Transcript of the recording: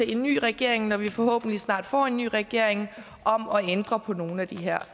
en ny regering når vi forhåbentlig snart får en ny regering om at ændre på nogle af de her